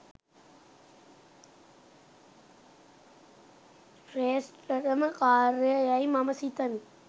ශ්‍රේෂ්ඨතම කාර්ය යැයි මම සිතමි.